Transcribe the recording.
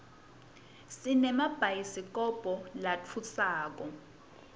sinemabhayidikobho latfusako